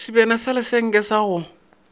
sebjana sa lesenke sa go